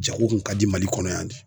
Jago kun ka di MALI kɔnɔ yan de.